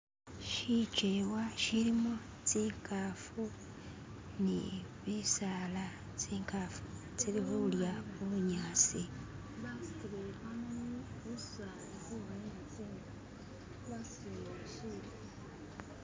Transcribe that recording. shichewa shilimu tsinkafu nibisaala tsinkafu tsili hulya hubunyasi